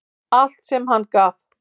Allt sem hann gaf.